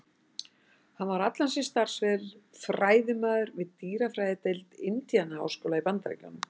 Hann var allan sinn starfsferil fræðimaður við dýrafræðideild Indiana-háskóla í Bandaríkjunum.